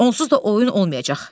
Onsuz da oyun olmayacaq.